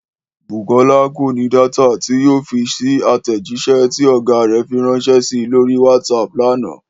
Bùkọ́lá kò ní dátà tí yóò fi fèsì sí àtẹ̀jíṣẹ́ tí ọ̀gá rẹ̀ fi ránṣẹ́ si lórí WhatsApp lánàá